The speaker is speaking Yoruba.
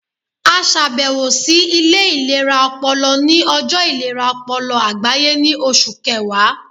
A ṣabẹwo si ile ilera ọpọlọ ni ọjọ ilera ọpọlọ agbaye ni Oṣu Kẹwa